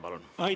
Palun!